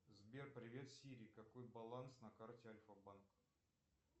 сбер привет сири какой баланс на карте альфа банка